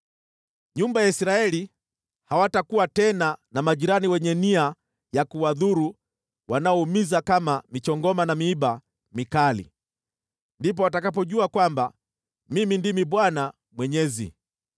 “ ‘Nyumba ya Israeli hawatakuwa tena na majirani wenye nia ya kuwadhuru wanaoumiza kama michongoma na miiba mikali. Ndipo watakapojua kwamba Mimi ndimi Bwana Mwenyezi.